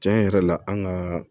Tiɲɛ yɛrɛ la an ka